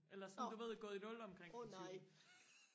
eller sådan du ved gået i nul omkring den tyvende